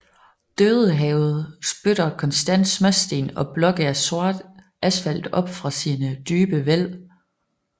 Dødehavet spytter konstant småsten og blokke af sort asfalt op fra sine dybe væld